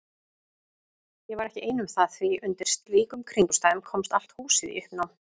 Ég var ekki ein um það því undir slíkum kringumstæðum komst allt húsið í uppnám.